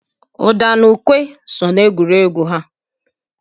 Ụda na ukwe so n'egwuregwu ha.